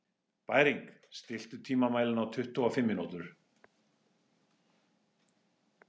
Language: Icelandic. Bæring, stilltu tímamælinn á tuttugu og fimm mínútur.